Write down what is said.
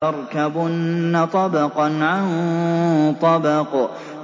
لَتَرْكَبُنَّ طَبَقًا عَن طَبَقٍ